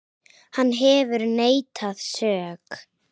Hann hefur neitað sök.